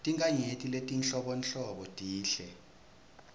tinkhanyeti letinhlobonhlobo tinhle